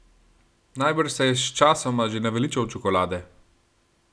Najbrž se je sčasoma že naveličal čokolade?